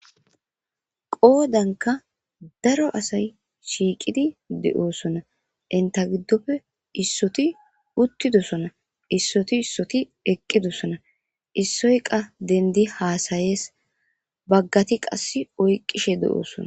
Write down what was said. Qoodanka daro asay shiiqidi de'oosona inta giddofe issoti uttidosona issoti issoti eqqidosona issoyqa dendi haasayees baggati qass oyqqishe de'oosona.